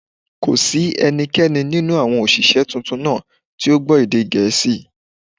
Kò sí ẹnì kankan nínú àwọn òṣìṣẹ́ tuntun náà tí ó gbọ́ èdè Gẹ̀ẹ́sì